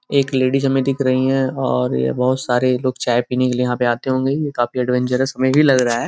एक लेडीस हमें दिख रही हैं और यह बहोत सारे ये लोग चाय पीने के लिए यहाँ पे आते होंगे| ये काफी एडवेंजेरस हमे भी लग रहा है।